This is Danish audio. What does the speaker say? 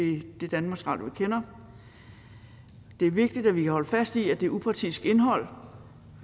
i det danmarks radio vi kender det er vigtigt at vi holder fast i at det er upartisk indhold